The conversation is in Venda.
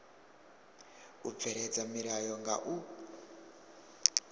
u bveledza milayo nga u